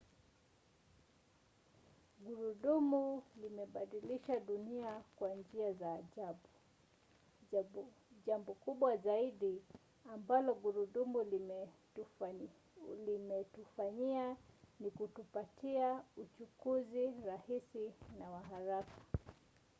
gurudumu limebadilisha dunia kwa njia za ajabu. jambo kubwa zaidi ambalo gurudumu limetufanyia ni kutupatia uchukuzi rahisi na wa haraka